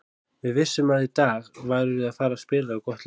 Við vissum að í dag værum við að fara spila við gott lið.